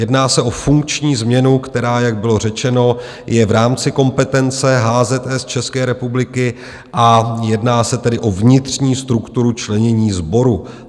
Jedná se o funkční změnu, která, jak bylo řečeno, je v rámci kompetence HZS České republiky, a jedná se tedy o vnitřní strukturu členění sboru.